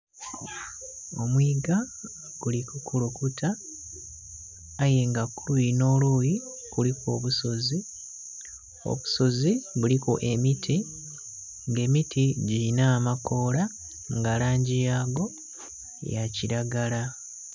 Omwiiga guli ku kulukuta aye nga kuluyi nho luyi kuliku obusozi, obusozi biliku emiti nga emiti dhilina amakoola nga langi yaggo ya kilagala.